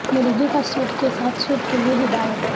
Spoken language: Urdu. مرغی کا سوپ کے ساتھ سوپ کے لئے ہدایت